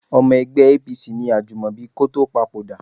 Ọmọ ẹgbẹ́ APC ni Ajúmọ̀bí kó tó papòdà